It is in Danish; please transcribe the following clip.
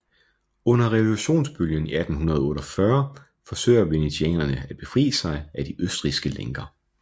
Under revolutionsbølgen i 1848 forsøger venetianerne at befri sig af de østrigske lænker